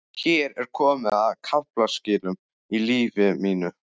Hér er komið að kaflaskilum í lífi mínu.